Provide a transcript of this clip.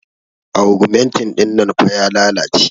augmentin dinnan fah ya lalace